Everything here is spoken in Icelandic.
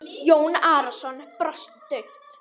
Jón Arason brosti dauft.